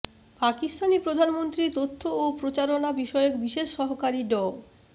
পাকিস্তানি প্রধানমন্ত্রীর তথ্য ও প্রচারণা বিষয়ক বিশেষ সহকারী ড